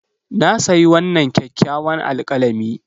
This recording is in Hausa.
Na sayi wannan kyakkyawan alkalami.